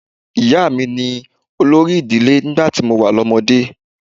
Ìyá mi ni olórí ìdílé nígbà tí mo wà lọ́mọdé.